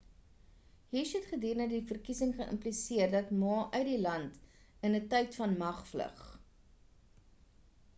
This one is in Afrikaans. hsieh het gedurende die verkiesing geïmpliseer dat ma uit die land in 'n tyd van mag vlug